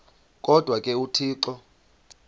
kodwa ke uthixo